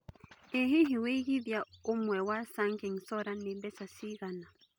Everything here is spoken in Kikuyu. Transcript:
ĩ hihi wĩigĩthĩa ũmwe wa sunking solar nĩ mbeca cigana